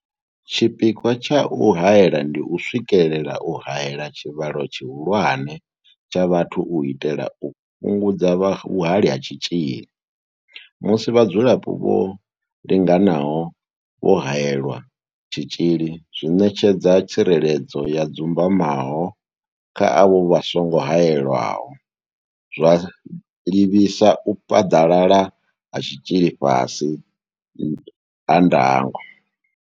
Tshipikwa tsha u haela ndi u swikelela u haela tshivhalo tshihulwane tsha vhathu u itela u fhungudza vhuhali ha tshitzhili musi vhadzulapo vho linganaho vho haelelwa tshitzhili zwi ṋetshedza tsireledzo ya dzumbamaho kha avho vha songo haelwaho, zwa livhisa u phaḓalala ha tshitzhili fhasi ha ndango.